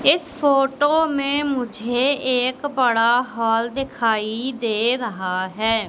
इस फोटो में मुझे एक बड़ा हॉल दिखाई दे रहा है।